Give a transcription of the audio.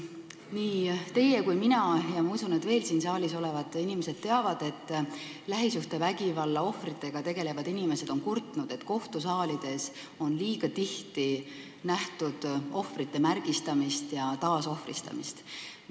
Nii teie kui ka mina teame ja ma usun, et veel paljud siin saalis olevad inimesed teavad, et lähisuhtevägivalla ohvritega tegelevad inimesed on kurtnud, et kohtusaalides on üsna tihti nähtud ohvrite märgistamist ja taasohvristamist.